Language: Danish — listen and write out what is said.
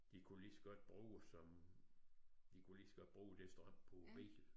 De kunne lige så godt bruge som de kunne lige så godt bruge det strøm på bilen